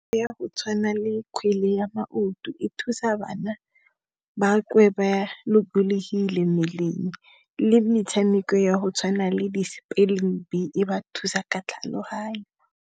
Ya go tshwana le kgwele ya maoto, e thusa bana ba kwe ba lokolohile mmeleng le metshameko ya go tshwana le di spelling bee e ba thusa ka tlhaloganyo.